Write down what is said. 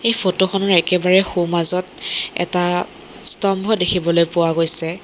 এই ফটো খনৰ একেবাৰে সোমাজত এটা স্তম্ভ দেখিবলৈ পোৱা গৈছে।